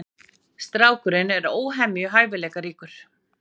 Strákurinn er óhemju hæfileikaríkur.